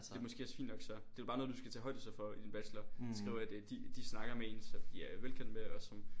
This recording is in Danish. Det måske også fint nok så. Det er jo bare noget du skal tage højde så for i din bachelor skrive at de snakker med en som de er velkendt med og som